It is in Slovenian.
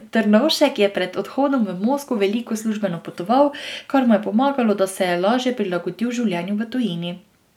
Trnovšek je pred odhodom v Moskvo veliko službeno potoval, kar mu je pomagalo, da se je lažje prilagodil življenju v tujini.